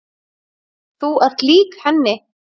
Þú ert lík henni.